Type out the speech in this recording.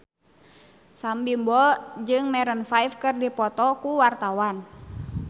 Sam Bimbo jeung Maroon 5 keur dipoto ku wartawan